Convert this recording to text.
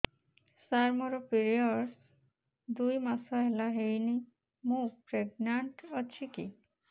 ସାର ମୋର ପିରୀଅଡ଼ସ ଦୁଇ ମାସ ହେଲା ହେଇନି ମୁ ପ୍ରେଗନାଂଟ ଅଛି କି